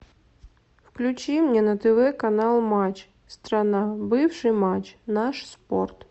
включи мне на тв канал матч страна бывший матч наш спорт